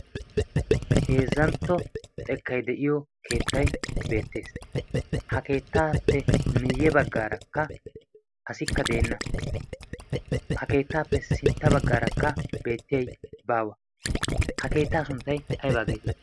heezzantto xekkai de7iyo keettai beettees. ha keettaappe miiyye baggaarakka asikka deenna. ha keettaappe sintta baggaarakka beettiyai baawa. ha keettaa sunttai aibaa geeteii?